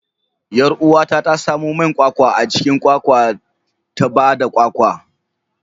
Yar uwata ta samo man kwakwa a cikin kwakwa ta ba da kwakwa.